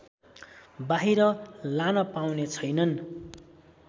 बाहिर लान पाउने छैनन्